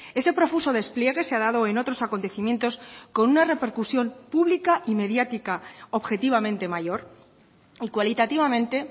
ese profuso despliegue se ha dado en otros acontecimientos con una repercusión pública y mediática objetivamente mayor y cualitativamente